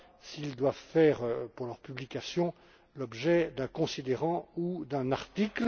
s'ils doivent faire, pour leur publication, l'objet d'un considérant ou d'un article.